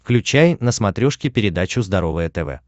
включай на смотрешке передачу здоровое тв